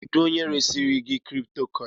Kedu onye resirigi kripitokoini?